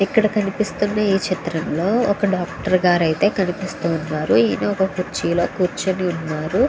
ఇక్కడ కనిపిస్తున్న ఈ చిత్రం లో ఒక డాక్టర్ గారు అయితే కనిపిస్తునారు. ఇక్కడ కురుచి లో కురుచొని వున్నారు.